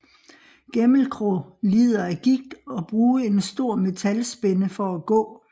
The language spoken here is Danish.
Gæmelkrå lider af gigt og bruge en stor metalspænde for at gå